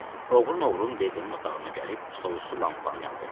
Nəsə, oğrun-oğrun DB-nin otağına gəlib stolüstü lampanı yandırdım.